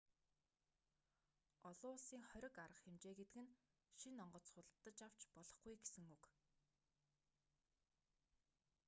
олон улсын хориг арга хэмжээ гэдэг нь шинэ онгоц худалдаж авч болохгүй гэсэн үг